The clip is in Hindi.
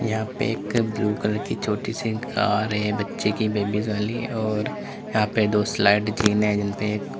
यहां पे एक ब्लू कलर की छोटी सी कार है बच्चे की बेबीज वाली और यहां पर दो स्लाइड जीनें हैं।